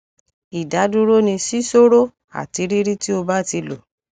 idaduro ni sisoro ati riri ti o ba ti lo